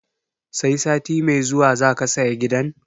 Sai sati mai zuwa zaka saya gidan?